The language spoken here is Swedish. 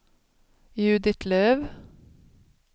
Judit Löf